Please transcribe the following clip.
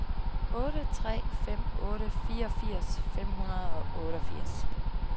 otte tre fem otte fireogfirs fem hundrede og otteogfirs